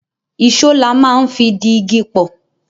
Ìṣó la máa ń fi di igi pọ̀